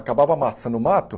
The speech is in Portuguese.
Acabava amassando o mato.